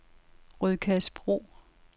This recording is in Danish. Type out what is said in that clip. Rødkærsbro